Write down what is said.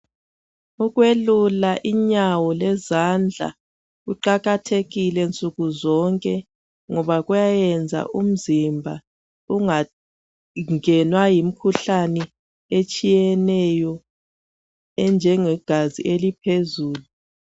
Ukwelula inyawo lezandla kuqakathekile nsukuzonke ngoba kuyenza umzimba ungangenwa yimikhuhlane etshiyeneyo enjengegazi eliphezulu.